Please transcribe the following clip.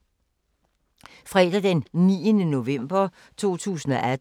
Fredag d. 9. november 2018